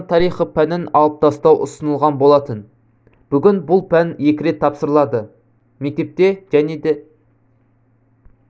қазақстан тарихы пәнін алып тастау ұсынылған болатын бүгін бұл пән екі рет тапсырылады мектепте және да